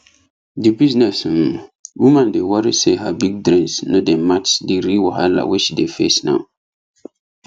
the business um woman dey worry say her big dreams no dey match the real wahala wey she dey face now